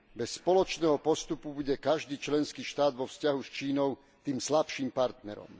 Bez spoločného postupu bude každý členský štát vo vzťahu s Čínou tým slabším partnerom.